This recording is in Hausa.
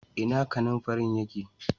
Ina kananfarin ya ke?